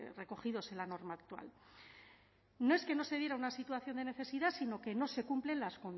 recogidos en la norma actual no es que no se diera una situación de necesidad sino que no se cumplen